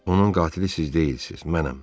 Onun qatili siz deyilsiz, mənəm.